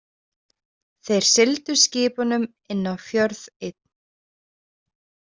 Þeir sigldu skipunum inn á fjörð einn.